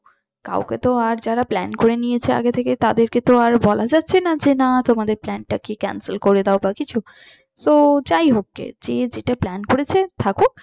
কাউকে তো আর যারা plan করে নিয়েছে আগে থেকে তাদেরকে তো আর বলা যাচ্ছে না যে না তোমাদের plan টাকে cancel করে দাও বা কিছু so যাইহোক গে যে যেটা plan করেছে থাকুক।